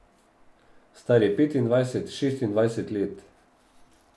Star je petindvajset, šestindvajset let.